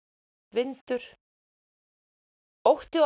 vindur ótti og